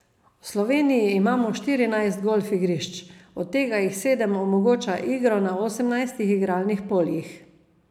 V Sloveniji imamo štirinajst golfigrišč, od tega jih sedem omogoča igro na osemnajstih igralnih poljih.